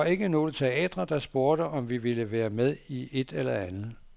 Der var ikke nogle teatre, der spurgte, om vi ville være med i et eller andet.